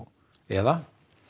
eða